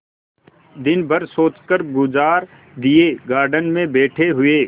दिन भर सोचकर गुजार दिएगार्डन में बैठे हुए